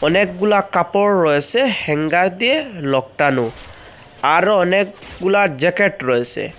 অনেকগুলা কাপড় রয়েসে হ্যাঙ্গার দিয়ে লকটানো আরো অনেকগুলা জ্যাকেট রয়েসে।